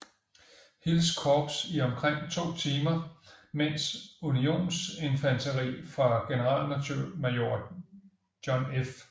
Hills korps i omkring to timer mens unionsinfanteri fra generalmajor John F